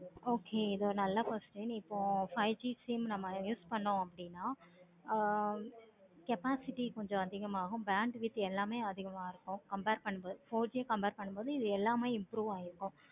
okay இது ஒரு நல்ல question இப்ப ஒரு five G use பண்ணனும் அப்படினா ஆஹ் capacity கொஞ்சம் அதிகமா ஆகும். bandwidth எல்லாமே அதிகமா இருக்கும். compare பண்றது four G compare பண்ணும் பொது இது எல்லாமே improve ஆகியிருக்கும்.